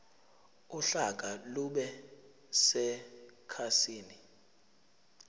uhlaka lube sekhasini